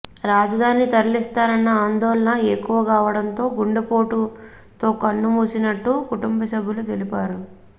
రాజధాని తరలిస్తారన్న ఆందోళన ఎక్కువకావడంతో గుండెపోటుతో కన్నుమూసినట్టు కుటుంబ సభ్యులు తెలిపారు